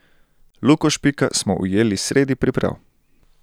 Luko Špika smo ujeli sredi priprav.